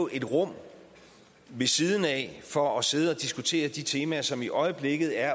et rum ved siden af for at sidde og diskutere de temaer som i øjeblikket er